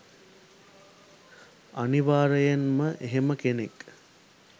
අනිවාර්යෙන්ම එහෙම කෙනෙක්